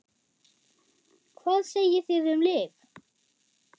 Hvað segið þið um lyf?